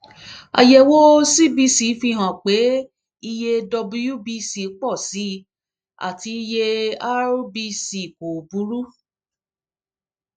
àyẹwò cbc fi hàn pé iye wbc pọ sí i àti iye rbc kò burú